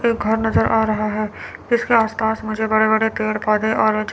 एक घर नजर आ रहा है इसके आस पास मुझे बड़े बड़े पेड़ पौधे और--